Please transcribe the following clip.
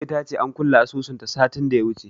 Ummi ta ce an kulle asusunta satin da ya wuce.